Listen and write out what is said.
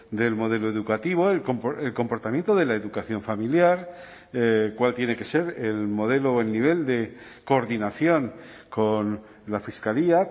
del modelo educativo el comportamiento de la educación familiar cuál tiene que ser el modelo o el nivel de coordinación con la fiscalía